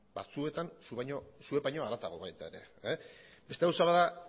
batzuetan zuek baino harago baita ere beste gauza bat da